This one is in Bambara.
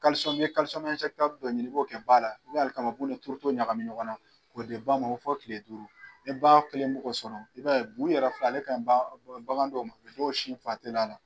dɔ ɲini i b'o kɛ ba la, n mɛ alikamabu ni turuto ɲagami ɲɔgɔn na, k'o di ba ma fɔ kile duuru, ni ba kelen mi k'o sɔrɔ, i b'a ye bu nin yɛrɛ filɛ ale kaɲi bagan dɔw ma i b'o sin la